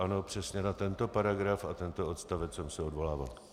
Ano, přesně na tento paragraf a tento odstavec jsem se odvolával.